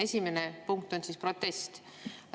Esimene punkt on protest.